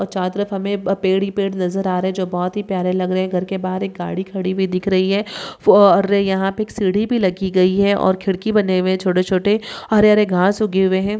चारो तरफ हमें पेड़ ही पेड़ दिखाई दे रहे है जो बहुत ही प्यारे लग रहे है घर के बाहर एक गाडी खड़ी हुई दिख रही है यहाँ पे एक सीढ़ी भी लगी गई है और खिड़की बने हुए है छोटे-छोटे हरे-हरे घास ऊगे हुए है।